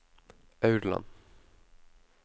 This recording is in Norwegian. Aurland